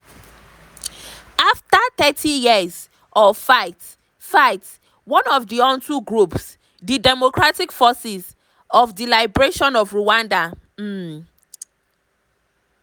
afta thirty years of fight-fight one of di hutu groups di democratic forces for di liberation of rwanda um (fdlr)